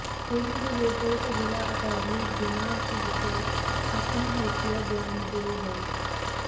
ਫੇਰ ਵੀ ਜੇ ਲੋੜ ਪਵੇ ਤਾਂ ਜ਼ਿਲ੍ਹਾ ਅਟਾਰਨੀ ਬਿਨਾਂ ਝਿਜਕ ਆਪਣਾ ਹਲਫ਼ੀਆ ਬਿਆਨ ਦੇ ਦੇਵੇ